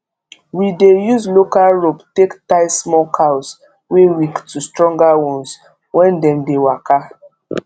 we dey use local rope take tie small cows wey weak to stronger ones when dem dey waka